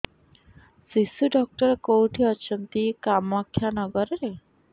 ଶିଶୁ ଡକ୍ଟର କୋଉଠି ଅଛନ୍ତି କାମାକ୍ଷାନଗରରେ